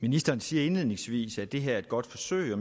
ministeren siger indledningsvis at det her er et godt forsøg og